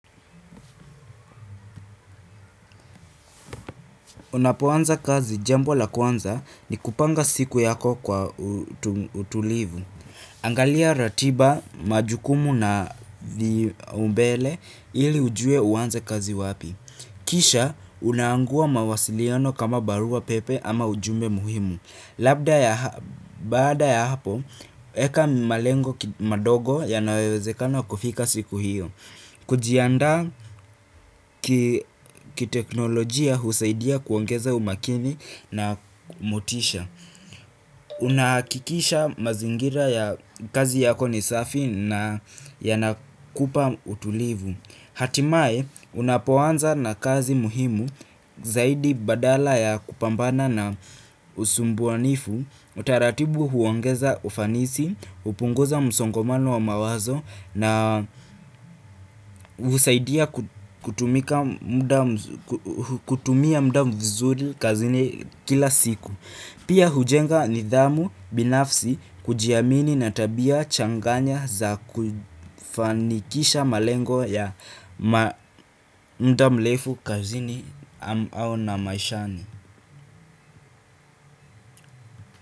Unapoanza kazi jambo la kwanza ni kupanga siku yako kwa utulivu. Angalia ratiba majukumu na umbele ili ujue uanze kazi wapi. Kisha unaangua mawasiliano kama barua pepe ama ujumbe muhimu. Baada ya hapo, eka malengo madogo yanayowezekana kufika siku hiyo. Kujiandaa kiteknolojia husaidia kuongeza umakini na motisha. Unahakikisha mazingira ya kazi yako ni safi na yanakupa utulivu. Hatimaye, unapoanza na kazi muhimu zaidi badala ya kupambana na usumbuanifu utaratibu huongeza ufanisi, hupunguza msongomano wa mawazo na husaidia kutumia muda vizuri kazini kila siku. Pia hujenga nidhamu binafsi kujiamini na tabia changanya za kufanikisha malengo ya muda mrefu kazini au na maishani.